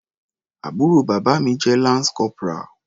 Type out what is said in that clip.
Àbúrò bàbá mi jẹ́ lance corporal.